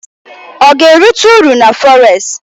Ọ ga-erite uru na fọres?